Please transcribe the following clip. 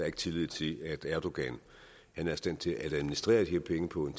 ikke tillid til at erdogan er i stand til at administrere de her penge på en